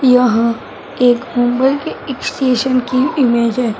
यह एक मुंबई के इक स्टेशन की ईमेज है।